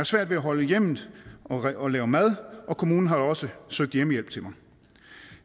svært ved at holde hjemmet og lave mad og kommunen har også søgt hjemmehjælp til mig